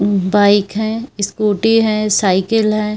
Bike हैं scooty हैं cycle हैं।